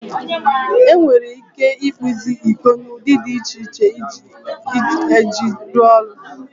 Enwere ike ịkpụzi iko n'ụdị dị iche iche iji rụọ ọrụ.